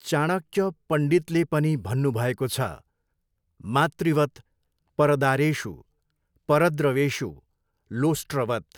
चाणक्य पण्डितले पनि भन्नुभएको छ, मातृवत् परदारेषु परद्रव्येषु लोष्ट्रवत्।